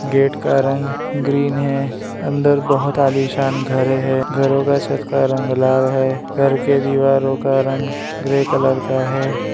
Gate का रंग green है अंदर बहुत आलीशान घर है घरों का छत का रंग लाल है घर के दीवारों का रंग ग्रे कलर का है।